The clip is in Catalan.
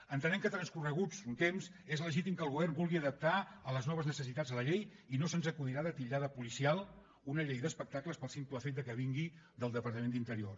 entenem que transcorregut un temps és legítim que el govern vulgui adaptar a les noves necessitats la llei i no se’ns acudirà de titllar de policial una llei d’espectacles pel simple fet que vingui del departament d’interior